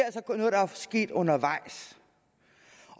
sket undervejs